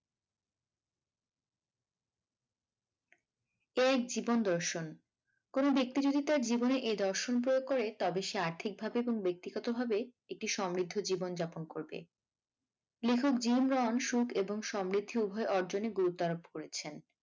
এই জীবন দর্শন কোনো ব্যক্তি যদি তার জীবনে এই দর্শন প্রয়োগ করে তবে সে আর্থিক ভাবে এবং ব্যক্তিগত ভাবে একটি সমৃদ্ধ জীবনযাপন করবে লেখক জিম রন সুখ এবং সমৃদ্ধি উভয় অর্জনে গুরুত্ব আরোপ করেছেন।